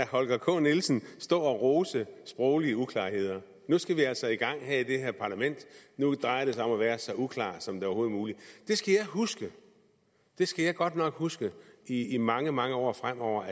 holger k nielsen stå og rose sproglige uklarheder at nu skal vi altså i gang i det her parlament at nu drejer det sig om at være så uklar som overhovedet muligt det skal jeg huske det skal jeg godt nok huske i i mange mange år fremover